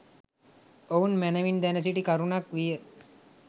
ඔවුන් මැනවින් දැන සිටි කරුණක් විය.